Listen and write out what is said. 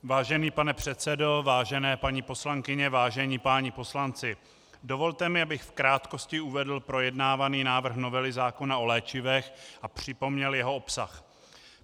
Vážený pane předsedo, vážené paní poslankyně, vážení páni poslanci, dovolte mi, abych v krátkosti uvedl projednávaný návrh novely zákona o léčivech a připomněl jeho obsah.